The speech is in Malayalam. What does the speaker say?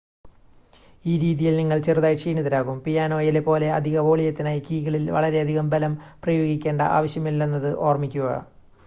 ഈ രീതിയിൽ നിങ്ങൾ ചെറുതായി ക്ഷീണിതരാകും പിയാനോയിലെ പോലെ അധിക വോളിയത്തിനായി കീകളിൽ വളരെയധികം ബലം പ്രയോഗിക്കേണ്ട ആവശ്യമില്ലെന്നത് ഓർമ്മിക്കുക